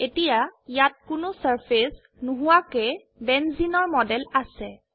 এতিয়া ইয়াত কোনো সাৰফেস নোহোৱাকৈ বেঞ্জিনৰ মডেল আছে